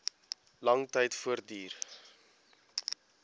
lang tyd voortduur